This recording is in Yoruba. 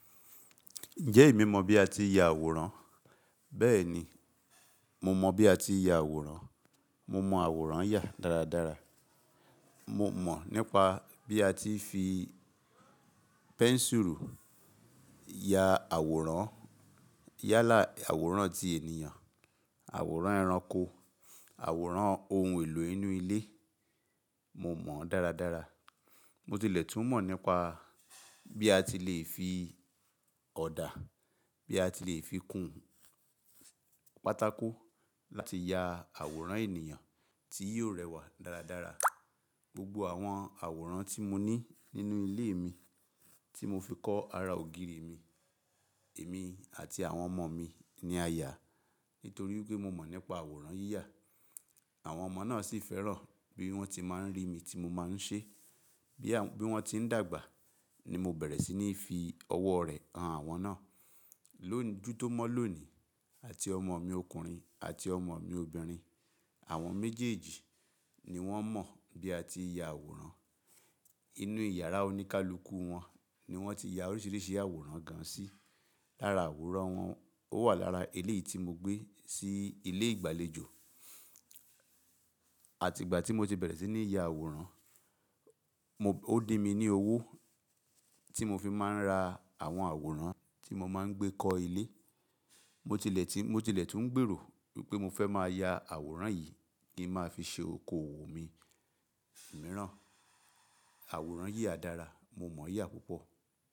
Ǹjẹ́ èmi mọ̀ bí a ti ń ya àwòrán? Bẹ́ẹ̀ni, mo mọ̀ bí a ti ń ya àwòrán. Mo mọ àwòrán yà dáradára. Mo mọ̀ nípa bí a ti ń fi pẹ́ńsùrù ya àwòrán. Yálà àwòrán ti ènìyàn, àwòrán ẹranko, àwòrán ohun èlò inú ilé. Mo mọ̀ dáradára. Mo tilẹ̀ tún mọ̀ nípa bí a ti lè fi ọ̀dà, bí a ti lè fi kùn pátákó láti ya àwòrán ènìyàn tí yóò rẹwà dáradára. Gbogbo àwọn àwòrán tí mo ní nínú ilé mi tí mo fi kọ́ ara ògiri mi, èmi àti àwọn ọmọ mi ni a yà nítorí pé mo mọ̀ nípa àwòrán yíyà. Àwọn ọmọ náà sì fẹ́ràn bí wọ́n ti máa ń rí mi tí mo máa ń ṣe. Bí wọ́n ti ń dàgbà ni mo bẹ̀rẹ̀ sí ní fi ọwọ́ rẹ̀ han àwọn náà. Lójú tó mọ́ lónìí àti ọmọ mi ọkùnrin àti ọmọ mi obìnrin, àwọn méjèèjì ni wọ́n mọ̀ bí a ti ń ya àwòrán. Inú ìyàrá oníkálukú wọn ni wọ́n ti ya oríṣiríṣi àwòrán gan-an sí. Lára àwòrán wọn ó wà lára iléyi tí mo gbé sí ilé ìgbàlejò. Àti ìgbà tí mo ti bẹ̀rẹ̀ sí ní ya àwòrán, ó dín mi ní owó tí mo fi máa ń ra àwọn àwòrán tí mo máa ń gbé kọ́ ilé. Mo tilẹ̀ tún ń gbèrò wípé mo fẹ́ máa ya àwòrán yìí ki n màá fi ṣe okoòwò mi mìíràn. Àwòrán yíyà dára, mo mọ̀ yíyà púpọ̀